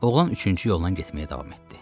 Oğlan üçüncü yolla getməyə davam etdi.